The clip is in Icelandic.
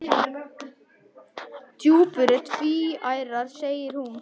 Stjúpur eru tvíærar segir hún.